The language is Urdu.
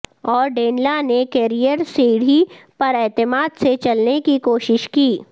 اور ڈینلا نے کیریئر سیڑھی پر اعتماد سے چلنے کی کوشش کی